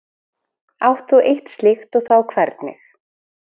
Átt þú eitt slíkt og þá hvernig?